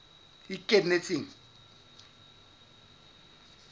ikemetseng